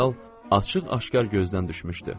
General açıq-aşkar gözdən düşmüşdü.